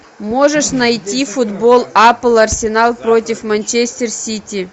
можешь найти футбол апл арсенал против манчестер сити